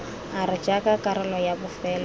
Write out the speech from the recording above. r jaaka karolo ya bofelo